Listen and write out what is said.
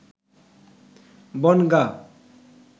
Bongaon